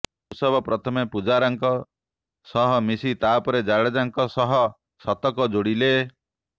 ଋଷଭ ପ୍ରଥମେ ପୁଜାରା ଙ୍କ ସହ ମିଶି ତାପରେ ଜାଡେଜା ଙ୍କ ସହ ଶତକ ଯୋଡିଲେ